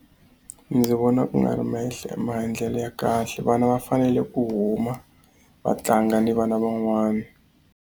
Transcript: Ndzi vona ku nga ri maendlelo ya kahle vana va fanele ku huma vatlanga ni vana van'wana.